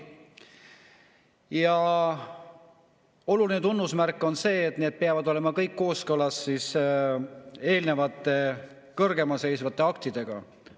Ja oluline tunnusmärk on see, et need kõik peavad olema kooskõlas eelnimetatud kõrgemalseisvate aktidega.